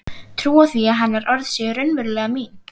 Trúa því að hennar orð séu raunverulega mín.